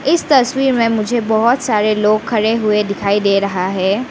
इस तस्वीर में मुझे बहोत सारे लोग खड़े हुए दिखाई दे रहा है।